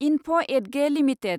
enough Edge limited